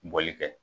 Bɔli kɛ